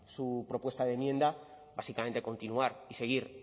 su propuesta de enmienda básicamente continuar y seguir